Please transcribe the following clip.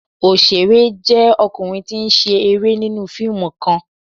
Oṣere jẹ ọkunrin ti n ṣẹ ni fiimu kan